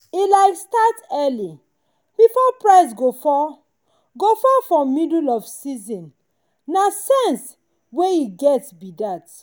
e like start early before price go fall for go fall for middle of season na sense wey e get be that.